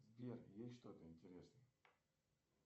сбер есть что то интересное